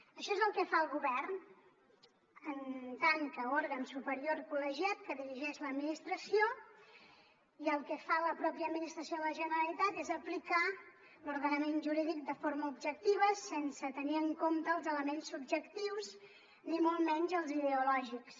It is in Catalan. això és el que fa el govern en tant que òrgan superior col·legiat que dirigeix l’administració i el que fa la pròpia administració de la generalitat és aplicar l’ordenament jurídic de forma objectiva sense tenir en compte els elements subjectius ni molt menys els ideològics